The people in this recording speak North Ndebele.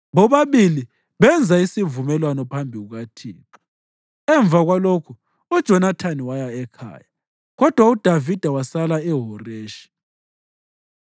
Bobabili benza isivumelwano phambi kukaThixo. Emva kwalokho uJonathani waya ekhaya, kodwa uDavida wasala eHoreshi.